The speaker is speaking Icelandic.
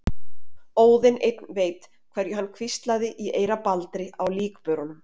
Óðinn einn veit hverju hann hvíslaði í eyra Baldri á líkbörunum.